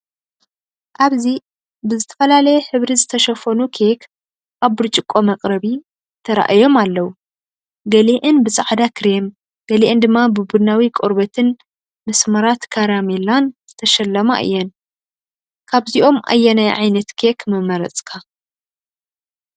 ኣብዚ ብዝተፈላለየ ሕብሪ ዝተሸፈኑ ኬክ ኣብ ብርጭቆ መቅረቢ ተራእዮም ኣለዉ። ገሊአን ብጻዕዳ ክሬም፡ ገሊአን ድማ ብቡናዊ ቆርበትን መስመራት ካራሜላን ዝተሸለማ እየን። ካብዚኦም ኣየናይ ዓይነት ኬክ ምመረጽካ?